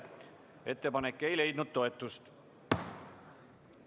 Ettepanek ei leidnud toetust.